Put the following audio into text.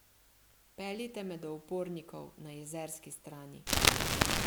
Peljite me do upornikov na jezerski strani.